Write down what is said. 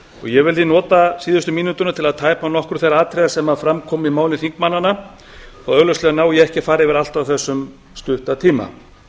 ég vildi nota síðustu mínútuna til að tæpa á nokkrum þeirra atriða sem fram komu í máli þingmannanna þó augljóslega nái ég ekki að fara yfir allt á þessum stutta tíma